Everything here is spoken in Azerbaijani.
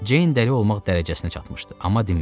Ceyn dəli olmaq dərəcəsinə çatmışdı, amma dinmirdi.